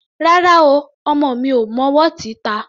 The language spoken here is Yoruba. Rárá o, ọmọ mi ò mọ wọ́ọ̀tì ta.